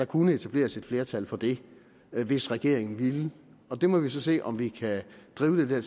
kunne etableres et flertal for det hvis regeringen vil det og der må vi så se om vi kan drive det